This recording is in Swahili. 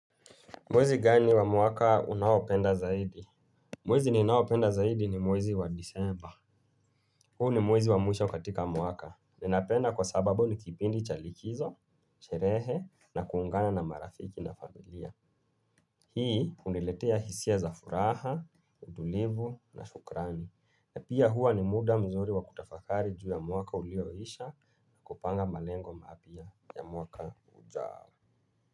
Mwezi gani wa mwaka unaopenda zaidi? Mwezi ninaopenda zaidi ni mwezi wa disemba. Huu ni mwezi wa mwisho katika mwaka. Ninapenda kwa sababu ni kipindi chalikizo, sherehe na kuungana na marafiki na familia. Hii uniletea hisia za furaha, utulivu na shukrani. Na pia huwa ni muda mzuri wa kutafakari juu ya mwaka ulioisha na kupanga malengo mapia ya mwaka ujao.